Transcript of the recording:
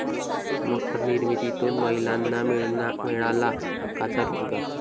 मखर निर्मितीतून महिलांना मिळाला हक्काचा रोजगार